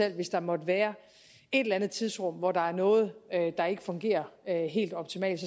at hvis der måtte være et eller andet tidsrum hvor der er noget der ikke fungerer helt optimalt